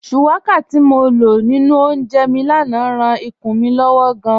Shuwaka ti mo lọ ninu ọ̀únjẹ́ mi lánà ráan ìkùn mi lọ́wọ̀ gáàn.